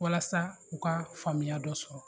Walasa u ka faamuya dɔ sɔrɔ.